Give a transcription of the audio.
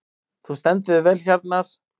Þú stendur þig vel, Hjarnar!